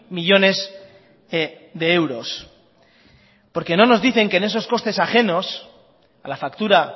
millónes de euros porque no nos dicen que en esos costes ajenos a la factura